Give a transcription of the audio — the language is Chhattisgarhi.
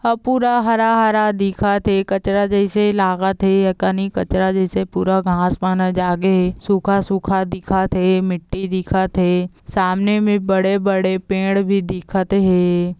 ह पूरा हरा-हरा दिखत हे कचरा जइसे लागत हे ऐ कनिक कचरा जइसे पूरा घास पाना जागे हे सूखा-सूखा दिखत हे मिट्टी दिखत हे सामने में बड़े-बड़े पेड़ भी दिखत हे।